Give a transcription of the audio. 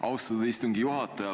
Austatud istungi juhataja!